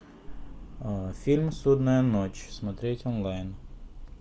фильм судная ночь смотреть онлайн